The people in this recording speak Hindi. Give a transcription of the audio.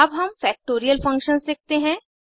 अब हम फैक्टोरियल फंक्शंस लिखते हैं